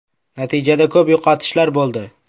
Natijada ko‘p yo‘qotishlar bo‘ldi.